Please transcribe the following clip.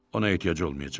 Ona ehtiyacı olmayacaq.